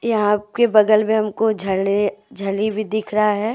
यहां आपके बगल में हमको झले झली भी दिख रहा है।